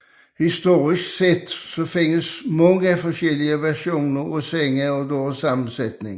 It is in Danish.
Historisk set findes mange forskellige versioner af senge og deres sammensætning